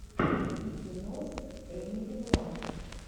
найди кино с эмили блант